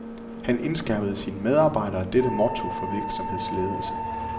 Han indskærpede sine medarbejdere dette motto for virksomhedsledelse.